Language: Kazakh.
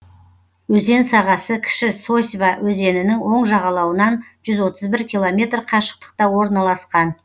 өзен сағасы кіші сосьва өзенінің оң жағалауынан жүз отыз бір километр қашықтықта орналасқан